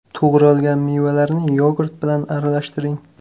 To‘g‘ralgan mevalarni yogurt bilan aralashtiring.